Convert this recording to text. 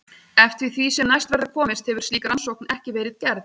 Eftir því sem næst verður komist hefur slík rannsókn ekki verið gerð.